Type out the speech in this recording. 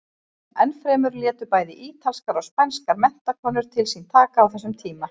Enn fremur létu bæði ítalskar og spænskar menntakonur til sín taka á þessum tíma.